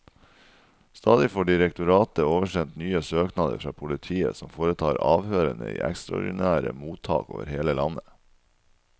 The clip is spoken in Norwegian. Stadig får direktoratet oversendt nye søknader fra politiet, som foretar avhørene i ekstraordinære mottak over hele landet.